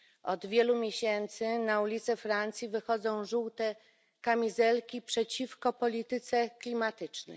Od wielu miesięcy na ulice Francji wychodzą żółte kamizelki przeciwko polityce klimatycznej.